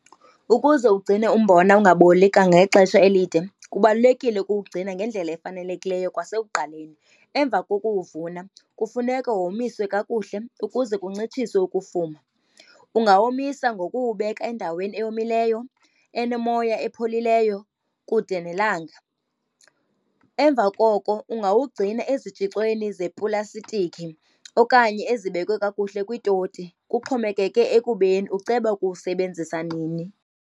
Ukuze ugcine umbona ungaboli kangangexesha elide kubalulekile ukuwugcina ngendlela efanelekileyo kwasekuqaleni. Emva kokuwuvuna kufuneka womiswa kakuhle ukuze kuncitshiswe ukufuma. Ungawomisa ngokuwubeka endaweni eyomileyo enomoya, epholileyo, kude nelanga. Emva koko ungawugcina ezitshixweni zepulastiki okanye ezibekwe kakuhle kwiitoti, kuxhomekeke ekubeni uceba ukuwusebenzisa nini.